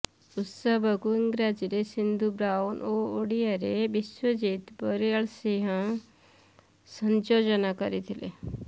ଉତ୍ସବକୁ ଇଂରାଜୀରେ ସିନ୍ଧୁ ବ୍ରାଉନ୍ ଓ ଓଡ଼ିଆରେ ବିଶ୍ୱଜିତ ବଳିଆରସିଂହ ସଂଯୋଜନା କରିଥିଲେ